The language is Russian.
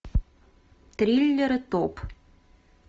триллеры топ